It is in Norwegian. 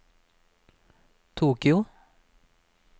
Tokyo